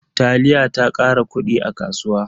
Taliya ta kara kudi a kasuwa.